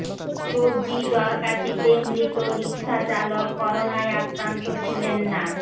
সর্দি জ্বর কাশিতে মৃত রিকশাচালক করোনায় আক্রান্ত ছিলেন না